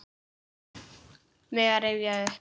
Mega rifja upp.